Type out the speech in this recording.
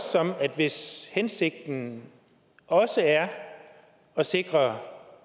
sådan at hvis hensigten også er at sikre